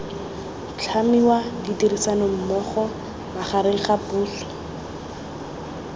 tlhamiwa ditirisanommogo magareng ga puso